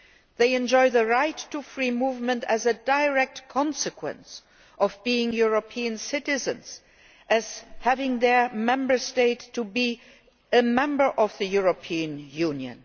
They enjoy the right to free movement as a direct consequence of being European citizens and of their Member State being a Member of the European Union.